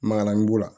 Magalan b'o la